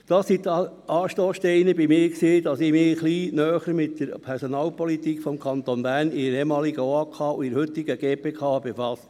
Das waren für mich die Anstosssteine, um mich in der ehemaligen OAK und heutigen GPK ein bisschen näher mit der Personalpolitik des Kantons Bern zu befassen.